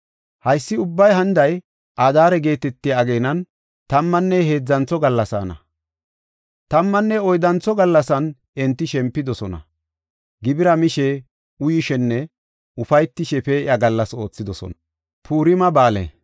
Haysi ubbay haniday Adaare geetetiya ageenan tammanne heedzantho gallasaana. Tammanne oyddantho gallasan enti shempidosona; gibira mishe, uyishenne ufaytishe pee7iya gallas oothidosona.